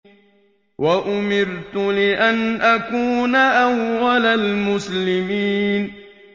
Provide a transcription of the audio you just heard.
وَأُمِرْتُ لِأَنْ أَكُونَ أَوَّلَ الْمُسْلِمِينَ